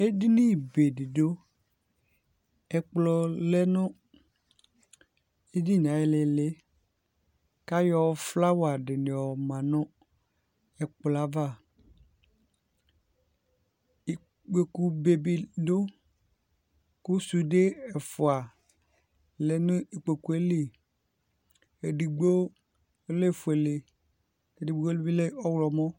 Edini be di dʋ Ɛkplɔ lɛ nʋ edini e ayi lili kʋ ayɔ flawa di yɔma nʋ ɛkplɔ yɛ ava Ikpokʋ bebe dʋ kʋ sude ɛfua lɛ nʋ ikpokʋ yɛ li Ɛdigbo lɛ ofuele, ɛdigbo bi lɛ ɔwlɔmɔ